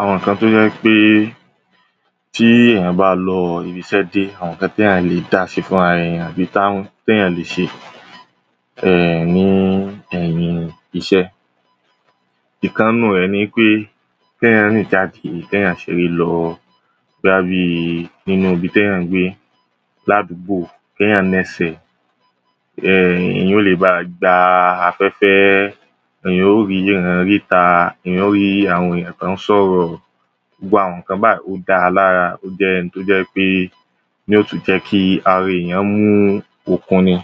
àwọn ǹkan tó jẹ́ pé tí èèyàn bá lọ ibi iṣẹ́ dé àwọn ǹkan téyàn lè dáṣe fúnra ra èèyàn tàbí téyàn lè ṣe ní ẹ̀yìn ibiṣẹ́ ìkan nínú rẹ̀ ni pé kéyàn rìn káàkiri kéyàn ṣeré lọ, bóyá bíi nínú ibi téyàn ń gbé láàdúgbò kéyàn naṣẹ̀ èèyàn lè báà gba afẹ́fẹ́ èèyàn yó ríran rí ìta èèyàn yóò rí àwọn ènìyàn tó ń ṣọ̀rọ̀ gbogbo àwọn ǹkan báyìí ó dáa lára ó jẹ́ ohun tó jẹ́ pé yóò tún jẹ́ kí ara èèyàn mú okun ni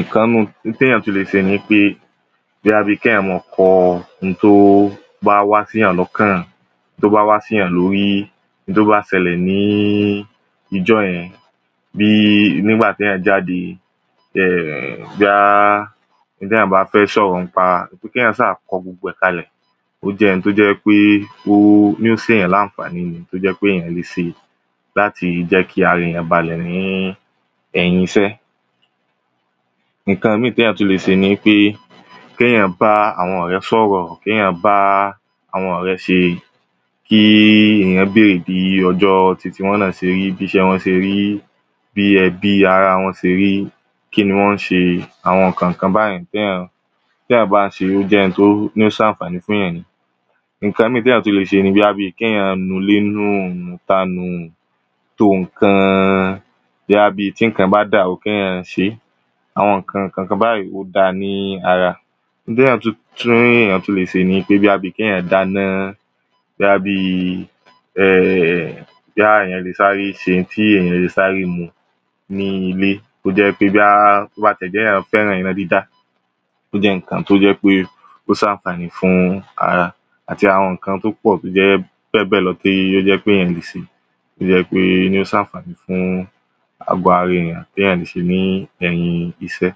ǹkan nú ohun téyàn tún lè ṣe ni pé bóyá kéyàn máa kọ ohun tó bá wá séyàn lọ́kàn tó bá wá séyàn lórí ohun tó bá ṣẹlẹ̀ níjọ́ yẹn bíi nígbà téyàn jáde bóyá ohun téyàn bá fẹ́ sọ̀rọ̀ nípa kéyàn sá kọ gbogbo ẹ̀ kalẹ̀ ó jẹ́ ohun tó jẹ́ pé ó ń ṣe èèyàn láànfàní tó jẹ́ pé èèyàn le ṣe láti jẹ́ kí ara èèyàn balẹ̀ ní ẹ̀yìn iṣẹ́ ǹkan míì téyàn tún le ṣe nipé kéyàn bá àwọn ọ̀rẹ́ sọ̀rọ̀ kéyàn bá àwọn ọ̀rẹ́ ṣe kí èèyàn bèrè bíi ọjọ́ titi wọn náà ṣe rí bí iṣẹ́ wọn ṣe rí, bí ẹbí ará wọn ṣe rí kí ni wọ́n ṣe àwọn ǹkankan báyẹn téyàn bá ń ṣeé ó jẹ́ ohun tó ń sànfàní fún yàn ǹkan míì téyàn tún lè ṣe ni bóyá kéyàn nu ilé nù nu ìta nù, to ǹkan bóyá bí tí ǹkan bá dàrú kéyàn ṣeé àwọn ǹkankan báyìí ó dára ní ara n téyàn tún le ṣe ni bí kéyàn dáná bóyá bíi ẹ̀ bóyá èèyàn le sáré ṣe ohun téyàn le sáré mu ní ilé tó jẹ́ pé bóyá téyàn bá fẹ́ràn iná dídá ó jẹ́ ǹkan tó jẹ́ pé ó sànfàní fún ara àti àwọn ǹkan tó pọ̀ tó jẹ́ bẹ́ẹ̀ bẹ́ẹ̀ lọ tí ó jẹ́ pé èèyàn lè ṣe tó jẹ́ pé yó sànfàní fún àgọ́ ara èèyàn téyàn ṣe ní ẹ̀yìn iṣẹ́